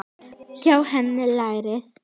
Hjá henni lærði